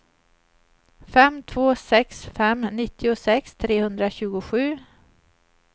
fem två sex fem nittiosex trehundratjugosju